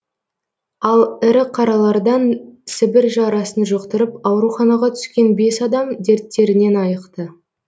ал ірі қаралардан сібір жарасын жұқтырып ауруханаға түскен бес адам дерттерінен айықты